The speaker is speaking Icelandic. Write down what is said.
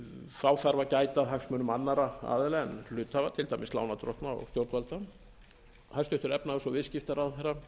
þá þarf að gæta að hagsmunum annarra aðila en hluthafa til dæmis lánardrottna og stjórnvalda hæstvirtur efnahags og viðskiptaráðherra